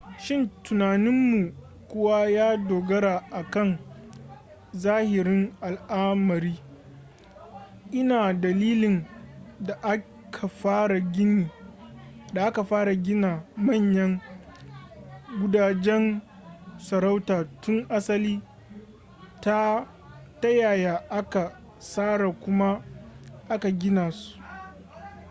shin tunaninmu kuwa ya dogara a kan zahirin al'amari ina dalilin da aka fara gina manyan gudajen sarauta tun asali ta yaya aka tsara kuma aka gina su